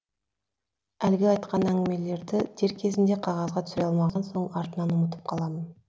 әлгі айтқан әңгімелерді дер кезінде қағазға түсіре алмаған соң артынан ұмытып қаламын